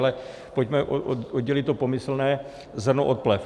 Ale pojďme oddělit pomyslné zrno od plev.